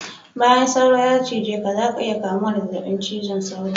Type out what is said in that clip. Bayan sauro ya cije ka zaka iya kamuwa da zazzabin cizon sauro